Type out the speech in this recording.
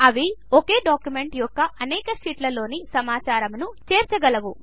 ఇవి ఒకే డాక్యుమెంట్ యొక్క అనేక షీట్లలోనికి సమాచారమును చేర్చగాలవు